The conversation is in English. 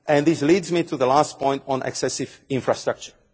And this leads me to my last point, on excessive infrastructure.